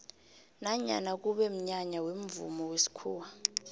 nanyana kube mnyanya wemvumo wesikhuwa